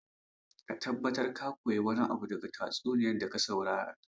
Ka tabbatar ka koyi wani abu daga tatsuniyar da ka saurara